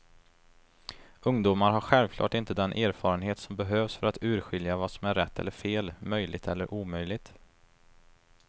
Ungdomar har självklart inte den erfarenhet som behövs för att urskilja vad som är rätt eller fel, möjligt eller omöjligt.